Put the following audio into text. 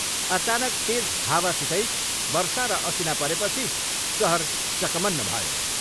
अचानक तेज हावसितै वर्षा र असिना परेपछि सहर चकमन्न भयो।